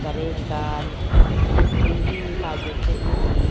gari ekkan battery he he piy de se iyani.